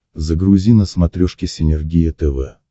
загрузи на смотрешке синергия тв